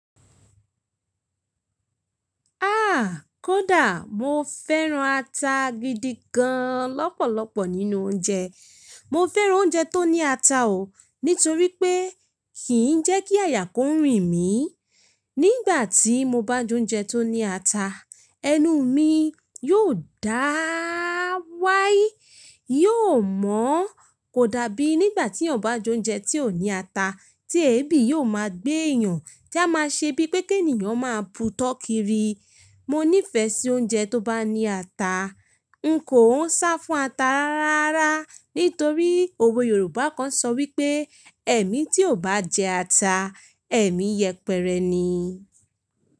Ah! Kódà mo fẹ́ran ata gidi gan lọ́pọ̀lọpọ̀ nínú oúnjẹ. Mo fẹ́ran oúnjẹ tó ní ata ò, nítorí pé kì í jẹ́ kí àyà kò rìn mí. Nígbà tí mo bá jẹ oúnjẹ tó ní ata, ẹnu mi yóò dáá wáyí, yóò mọ́. Kò dàbí nígbà tí ènìyàn bá jẹ oúnjẹ tí ò ní ata, tí èébì yóò máa gbé èèyàn, tí a máa ṣe bíi pé kí ènìyàn máa bu tọ́ kiri. Mo nífẹ̀ẹ́ sí oúnjẹ tó bá ní ata. N kò ún sá fún ata rárá, nítorí òwe Yorùbá kan sọ wípé: "ẹ̀mí tí ò bá jẹ ata, ẹ̀mí yẹpẹrẹ ni.